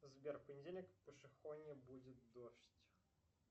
сбер в понедельник в пошехонье будет дождь